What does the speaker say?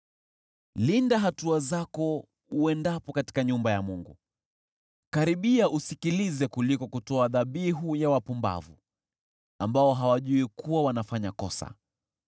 Linda hatua zako uendapo katika nyumba ya Mungu. Karibia usikilize kuliko kutoa dhabihu ya wapumbavu, ambao hawajui kuwa wanafanya kosa.